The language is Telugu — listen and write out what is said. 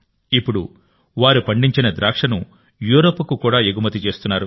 ఇప్పుడు వారు పండించిన ద్రాక్షను యూరప్కు కూడా ఎగుమతి చేస్తున్నారు